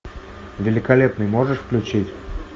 великолепный можешь включить